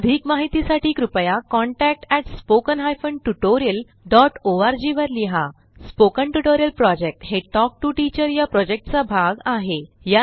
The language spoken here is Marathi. अधिक माहितीसाठी कृपया contact at spoken hyphen tutorial dot O R G वर लिहा स्पोकन ट्युटोरियल प्रॉजेक्ट हे टॉक टू टीचर या प्रॉजेक्टचा भाग आहे